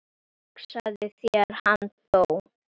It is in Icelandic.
Hugsaðu þér, hann dó.